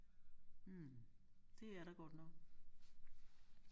Hm det er der godt nok